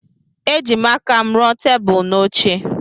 Ejim aka m ruo tebụl na oche.